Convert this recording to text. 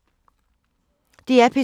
DR P2